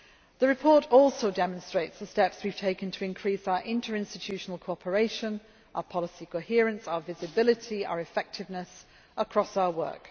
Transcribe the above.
The report also demonstrates the steps we have taken to increase our interinstitutional cooperation and our policy coherence, visibility and effectiveness across our work.